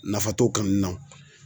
Nafa t'o kaan na o